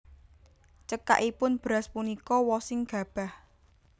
Cekakipun beras punika wosing gabah